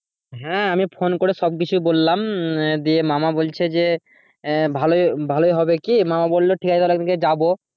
হ্যাঁ আমি ফোন করে সব কিছু বললাম দিয়ে মামা বলছে যে আহ ভালোই ভালোই হবে কি? মামা বললো ঠিক আছে তাহলে একদিন কে যাবো।